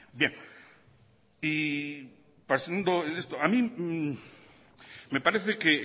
y pasando el esto a mí me parece que el